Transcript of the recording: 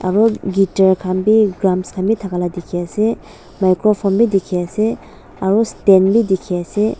aru guitar khan bi drums thaka la dikhi ase microphone bi dikhi ase aru stand bi dikhi ase.